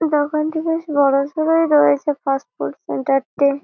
দোকানটি বেশ বড়সড়ই রয়েছে ফাস্ট ফুড সেন্টার -টির।